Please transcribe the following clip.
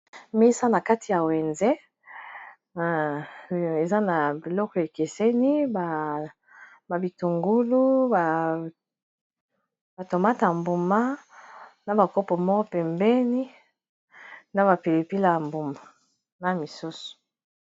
Mesa na kati ya wenze eza na biloko ekeseni ba bitungulu, ba tomata ya mbuma na ba kopo moko pembeni na ba pilipili ya mbuma na misusu.